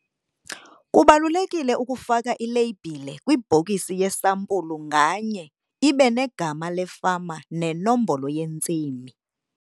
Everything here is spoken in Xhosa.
Kubalulekile ukufaka ileyibhile kwibhokisi yesampulu nganye ibe negama lefama nenombolo yentsimi.